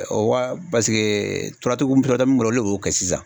O ka paseke turatigiw turatigiw minnu bɔla olu de b'o kɛ sisan